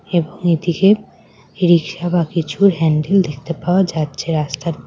এবং এদিকে রিক্সা বা কিছু হ্যান্ডেল দেখতে পাওয়া যাচ্ছে রাস্তার--